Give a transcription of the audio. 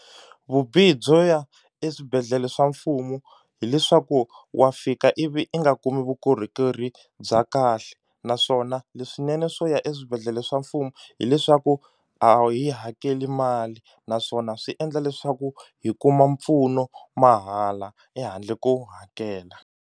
Vubihi byo ya eswibedhlele swa mfumo hileswaku wa fika ivi i nga kumi vukorhokeri bya kahle naswona leswinene swo ya eswibedhlele swa mfumo hileswaku a hi hakeli mali naswona swi endla leswaku hi kuma mpfuno mahala ehandle ko hakela.